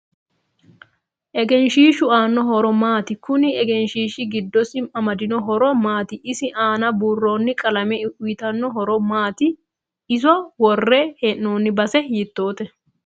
Egenshiishu aano horo maati kuni egenshiishi giddosi amadino horo maati isi aana buurooni qalame uyiitanno horo maati iso worre heenooni base hitoote